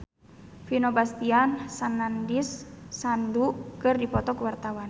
Vino Bastian jeung Nandish Sandhu keur dipoto ku wartawan